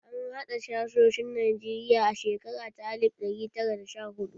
An haɗa sashoshin Najeriya a shekara ta alif ɗari tara da sha huɗu.